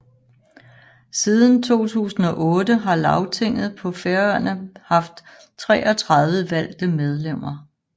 Siden 2008 har Lagtinget på Færøerne haft 33 valgte medlemmer